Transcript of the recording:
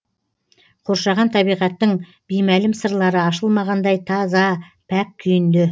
қоршаған табиғаттың беймәлім сырлары ашылмағандай таза пәк күйінде